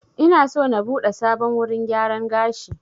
Ina so na buɗe sabon wurin gyaran gashi